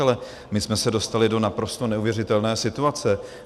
Ale my jsme se dostali do naprosto neuvěřitelné situace.